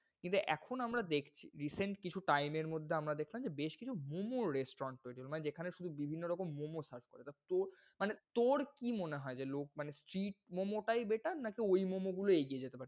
কিন্তু এখন আমরা দেখছি, recent কিছু time এর মধ্যে আমরা দেখলাম বেশ কিছু momo restaurant তৈরি, মানে যেখানে শুধু বিভিন্ন রকম momo serve করে। এটা তোর মানে তোর কি মনে হয়? যে লোক মানে street momo টায় better নাকি ঐ momo গুলো এগিয়ে?